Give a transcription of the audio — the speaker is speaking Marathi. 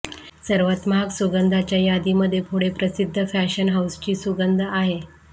सर्वात महाग सुगंधाच्या यादीमध्ये पुढे प्रसिद्ध फॅशन हाऊसची सुगंध आहे